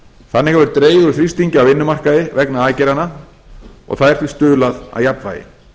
þannig hefur dregið úr þrýstingi á vinnumarkaði vegna aðgerðanna og þær því stuðlað að jafnvægi